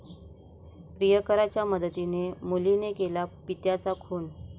प्रियकराच्या मदतीने मुलीने केला पित्याचा खून